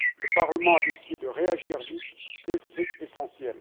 Le Parlement a décidé de réagir vite et c'est essentiel.